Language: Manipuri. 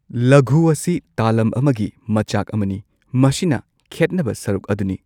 ꯂꯘꯨ ꯑꯁꯤ ꯇꯥꯂꯝ ꯑꯃꯒꯤ ꯃꯆꯥꯛ ꯑꯃꯅꯤ ꯃꯁꯤꯅ ꯈꯦꯠꯅꯕ ꯁꯔꯨꯛ ꯑꯗꯨꯅꯤ꯫